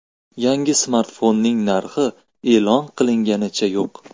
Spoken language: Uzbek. Yangi smartfonning narxi e’lon qilinganicha yo‘q.